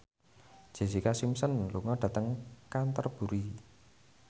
Jessica Simpson lunga dhateng Canterbury